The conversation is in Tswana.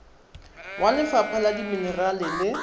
wa lefapha la dimenerale le